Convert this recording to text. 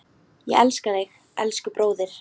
Ég elska þig, elsku bróðir.